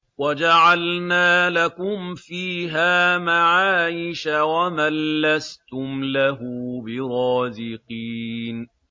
وَجَعَلْنَا لَكُمْ فِيهَا مَعَايِشَ وَمَن لَّسْتُمْ لَهُ بِرَازِقِينَ